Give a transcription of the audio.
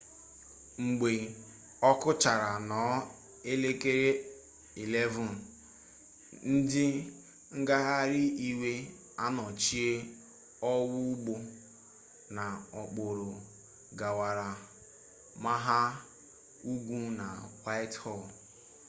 mgbe okuchara nnoo elekere 11:00 ndi ngahari-iwe anochie owa-ugbo na okporo gawara-mpaghar-ugwu na whitehall